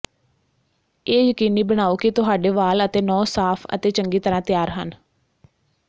ਇਹ ਯਕੀਨੀ ਬਣਾਓ ਕਿ ਤੁਹਾਡੇ ਵਾਲ ਅਤੇ ਨਹੁੰ ਸਾਫ਼ ਅਤੇ ਚੰਗੀ ਤਰ੍ਹਾਂ ਤਿਆਰ ਹਨ